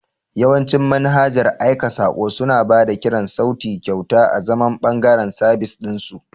Yawancin manhajar aika saƙo suna ba da kiran sauti kyauta azaman ɓangaren sabis ɗin su.